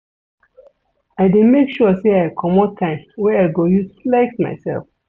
I dey make sure sey I comot time wey I go use flex mysef.